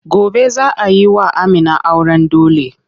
Gobe za a yi wa Amina auren dole.